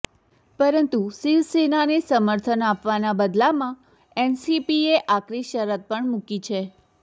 પરંતુ શિવસેનાને સમર્થન આપવાના બદલામાં એનસીપીએ આકરી શરત પણ મુકી છે